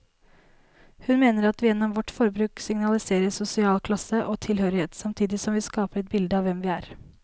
Hun mener at vi gjennom vårt forbruk signaliserer sosial klasse og tilhørighet, samtidig som vi skaper et bilde av hvem vi er.